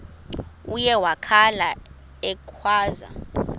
uye wakhala ekhwaza